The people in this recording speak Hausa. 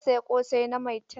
Na saya ƙosai na Maitan.